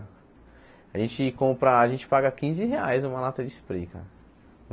A gente compra, a gente paga quinze reais uma lata de spray, cara.